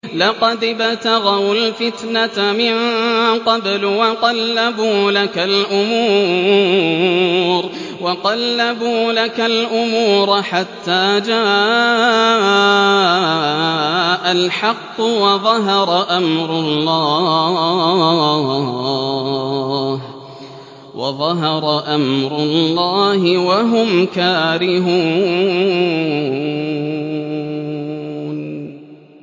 لَقَدِ ابْتَغَوُا الْفِتْنَةَ مِن قَبْلُ وَقَلَّبُوا لَكَ الْأُمُورَ حَتَّىٰ جَاءَ الْحَقُّ وَظَهَرَ أَمْرُ اللَّهِ وَهُمْ كَارِهُونَ